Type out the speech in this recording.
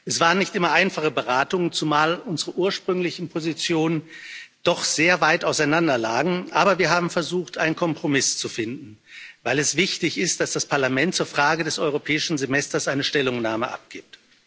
Es waren nicht immer einfache Beratungen, zumal unsere ursprünglichen Positionen doch sehr weit auseinanderlagen, aber wir haben versucht, einen Kompromiss zu finden, weil es wichtig ist, dass das Parlament zur Frage des Europäischen Semesters eine Stellungnahme abgibt.